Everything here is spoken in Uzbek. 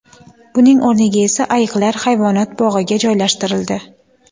Buning o‘rniga esa ayiqlar hayvonot bog‘iga joylashtirildi.